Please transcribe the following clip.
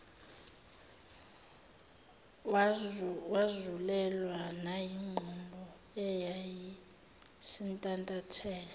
wazulelwa nayingqondo eyayisintantatheka